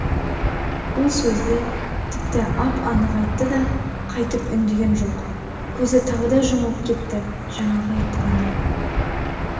бұл сөзді тіпті ап-анық айтты да қайтып үндеген жоқ көзі тағы да жұмылып кетті жаңағы айтқаны